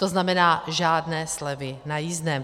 To znamená žádné slevy na jízdném.